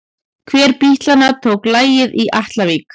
Hver bítlanna tók lagið í Atlavík?